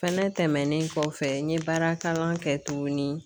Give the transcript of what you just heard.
Fɛnɛ tɛmɛnen kɔfɛ, n ye baara kalan kɛ tukuni.